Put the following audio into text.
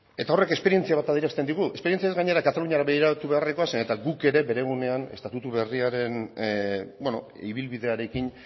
eta horrek esperientzia bat adierazten digu esperientziaz gainera kataluniara begiratu beharrekoa zeren eta guk ere bere gunean estatutu berriaren ibilbidearekin